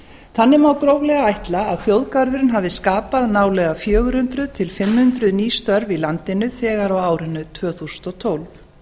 þannig má gróflega ætla að þjóðgarðurinn hafi skapað nálega fjögur hundruð til fimm hundruð ný störf í landinu þegar á árinu tvö þúsund og tólf